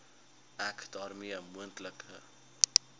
ek daarmee moontlike